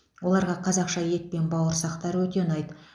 оларға қазақша ет пен бауырсақтар өте ұнайды